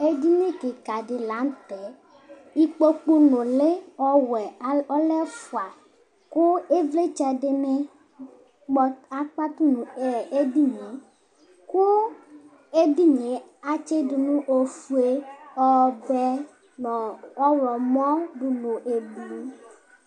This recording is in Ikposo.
edini kika di la nu tɛ ikpoku nuli ɔwɛ lɛ ɛfua ku ivlitsɛ dini akpatu nu edini ku ɛdini atsidu ofue ɔwɛ nu ɔɣlomɔ du nu ublu